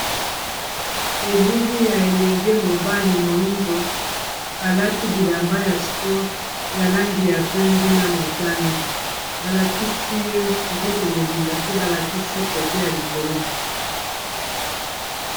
elili ya elenge mobali moindo alati bilamba ya spore ya langi ya pembe na motane balakisi ye nzoto mobimba te balakisi kote ya likolo